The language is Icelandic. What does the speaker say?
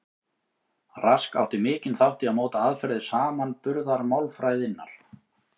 Rask átti mikinn þátt í að móta aðferðir samanburðarmálfræðinnar.